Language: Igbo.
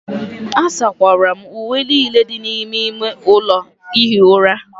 asakwara m uwe niile dị n'ime ime ụlọ ihi ụra